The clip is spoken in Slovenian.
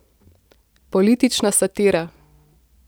Politična satira.